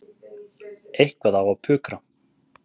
Eitthvað á að pukra.